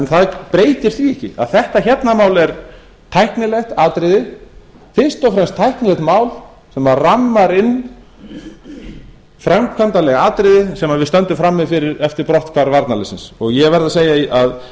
það breytir því ekki að þetta mál hérna er tæknilegt atriði fyrst og fremst tæknilegt mál sem rammar inn framkvæmdarleg atriði sem við stöndum frammi fyrir við brotthvarf varnarliðsins ég verð að segja að